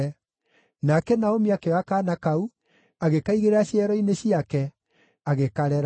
Nake Naomi akĩoya kaana kau, agĩkaigĩrĩra ciero-inĩ ciake, agĩkarera.